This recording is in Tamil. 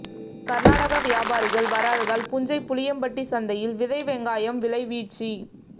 கர்நாடக வியாபாரிகள் வராததால் புஞ்சை புளியம்பட்டி சந்தையில் விதை வெங்காயம் விலை வீழ்ச்சி